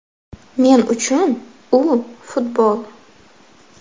Men uchun u futbol.